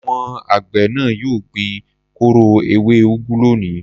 Àwọn àgbẹ̀ náà yóò gbin kóró ewé úgú lónìí.